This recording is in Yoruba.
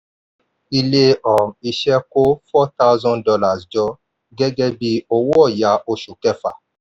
[ilé um iṣẹ́ kó four thousand dollars jọ gẹ́gẹ́ bí owó ọ̀ya oṣù kẹfà.